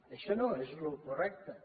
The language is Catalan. això no és el correcte